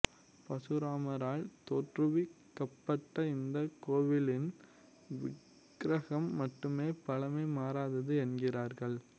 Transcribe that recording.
பரசுராமரால் தோற்றுவிக்கப்பட்ட இந்த கோவிலின் விக்ரகம் மட்டுமே பழமை மாறாதது என்கிறார்கள்